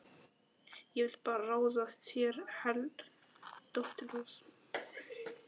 Ég vil bara ráða þér heilt, dóttir góð.